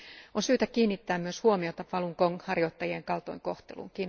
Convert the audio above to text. On syytä kiinnittää myös huomiota Falun Gong harjoittajien kaltoinkohteluun.